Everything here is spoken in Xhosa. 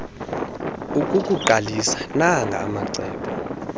ukukuqalisa nanga amacebo